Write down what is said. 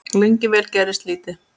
Lengi vel gerðist lítið.